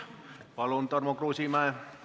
Palun, Tarmo Kruusimäe!